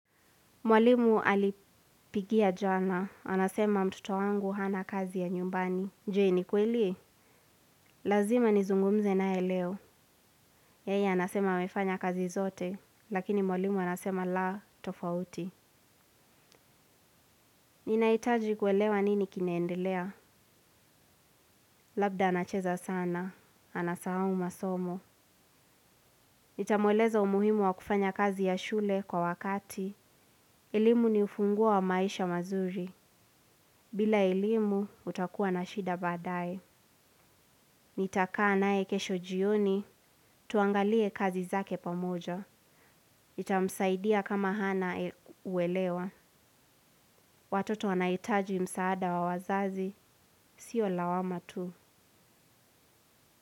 Mwalimu alipigia jana. Anasema mtoto wangu hana kazi ya nyumbani. Je ni ukweli. Lazima nizungumze naye leo. Yeye anasema amefanya kazi zote, lakini mwalimu anasema la tofauti. Ninahitaji kuelewa nini kinaendelea. Labda anacheza sana. Anasahau masomo. Nitamweleza umuhimu wa kufanya kazi ya shule kwa wakati. Elimu ni ufunguo wa maisha mazuri. Bila elimu utakuwa na shida baadaye. Nitakaa naye kesho jioni, tuangalie kazi zake pamoja. Itamsaidia kama hana uelewa. Watoto wanahitaji msaada wa wazazi, siyo lawama tu.